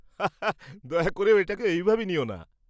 হা হা, দয়া করে এটাকে ওইভাবে নিও না।